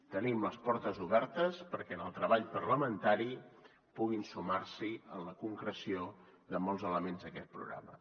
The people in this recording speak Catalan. tenim les portes obertes perquè en el treball parlamentari puguin sumar s’hi en la concreció de molts elements d’aquest programa